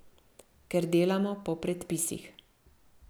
Ker delamo po predpisih.